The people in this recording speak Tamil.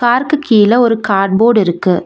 கார்க்கு கீழ ஒரு காட் போர்ட் இருக்கு.